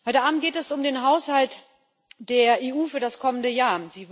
Heute Abend geht es um den Haushalt der EU für das kommende Jahr.